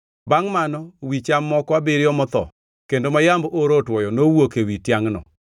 Bangʼ mano wi cham moko abiriyo motho kendo ma yamb oro otwoyo nowuok ewi tiangʼno.